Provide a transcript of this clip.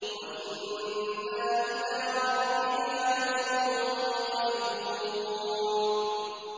وَإِنَّا إِلَىٰ رَبِّنَا لَمُنقَلِبُونَ